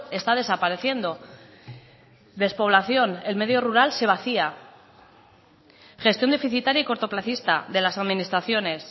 está desapareciendo despoblación el medio rural se vacía gestión deficitaria y cortoplacista de las administraciones